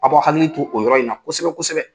A b'u hakili to o yɔrɔ in na kosɛbɛ kosɛbɛ